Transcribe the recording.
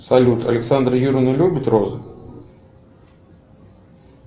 салют александра юрьевна любит розы